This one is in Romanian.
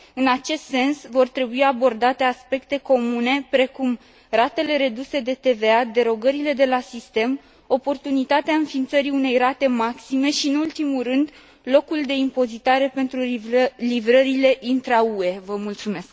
În acest sens, vor trebui abordate aspecte comune, precum ratele reduse de TVA, derogările de la sistem, oportunitatea înființării unei rate maxime și, nu în ultimul rând, locul de impozitare pentru livrările intra UE.